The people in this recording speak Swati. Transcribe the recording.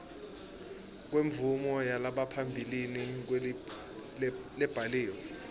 kwemvumo yangaphambilini lebhaliwe